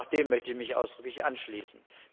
Auch dem möchte ich mich ausdrücklich anschließen.